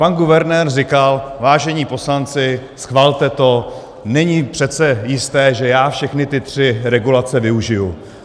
Pan guvernér říkal: vážení poslanci, schvalte to, není přece jisté, že já všechny ty tři regulace využiji.